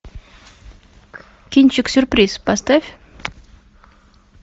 кинчик сюрприз поставь